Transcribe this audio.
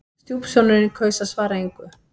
Stjúpsonurinn kaus að svara engu.